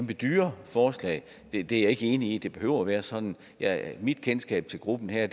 dyre forslag jeg er ikke enig i at det behøver være sådan mit kendskab til gruppen her